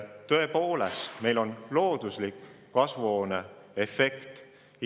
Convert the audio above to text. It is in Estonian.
Tõepoolest, meil on looduslik kasvuhooneefekt.